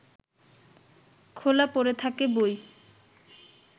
খোলা পড়ে থাকে বই